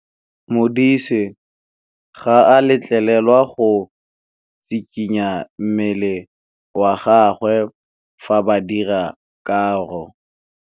Modise ga a letlelelwa go tshikinya mmele wa gagwe fa ba dira karô.